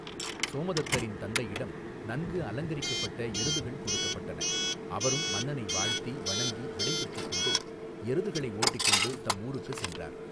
சோமதத்தரின் தந்தையிடம் நன்கு அலங்கரிக்கப்பட்ட எருதுகள் கொடுக்கப்பட்டன அவரும் மன்னனை வாழ்த்தி வணங்கி விடை பெற்றுக் கொண்டு எருதுகளை ஒட்டிக் கொண்டு தம் ஊருக்கு சென்றார்.